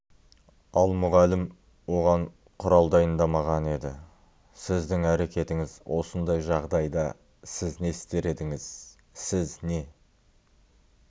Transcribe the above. ал мұғалім оған құрал дайындамаған еді сіздің әрекетіңіз осындай жағдайда сіз не істер едіңіз сіз не